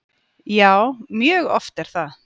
Já, mjög oft er það.